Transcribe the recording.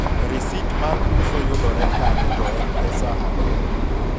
risit mar uso yudore kanye to en pesa adi?